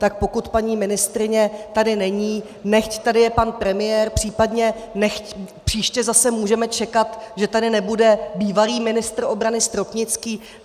Tak pokud paní ministryně tady není, nechť tady je pan premiér, případně - příště zase můžeme čekat, že tady nebude bývalý ministr obrany Stropnický.